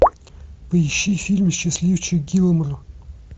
поищи фильм счастливчик гилмор